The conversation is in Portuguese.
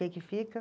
O que que fica?